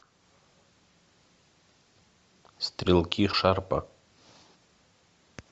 стрелки шарпа